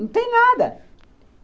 Não tem nada.